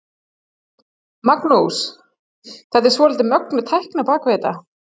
Magnús: Þetta er svolítið mögnuð tækni á bak við þetta?